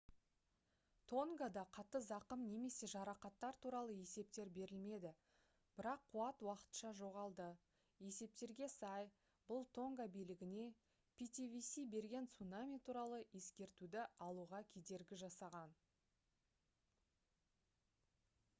тонгада қатты зақым немесе жарақаттар туралы есептер берілмеді бірақ қуат уақытша жоғалды есептерге сай бұл тонга билігіне ptwc берген цунами туралы ескертуді алуға кедергі жасаған